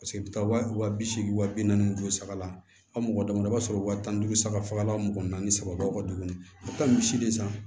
Paseke i bɛ taa wa bi seegi wa bi naani ju duuru saga la aw mɔgɔ damadɔ i b'a sɔrɔ wa tan ni duuru saga fagalan mugan naani saba tuguni a bɛ taa misi de san